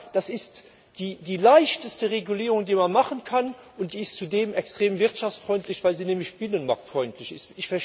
Das ist die leichteste Regulierung, die man machen kann, und die ist zudem extrem wirtschaftsfreundlich, weil sie nämlich binnenmarktfreundlich ist.